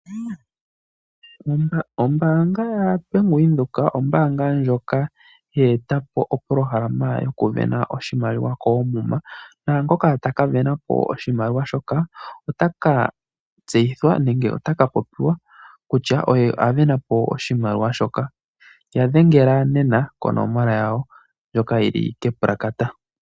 Ombaanga yaVenduka ombaanga ndjoka ye etapo opolohalama goku sindana oshimaliwa koomuma ,naangoka taka sindana oshimaliwa shoka otaka tseyithwa nenge otaka popiwa kutya oye asindanapo oshimaliwa shoka . Ya dhengela nema konomola yawo.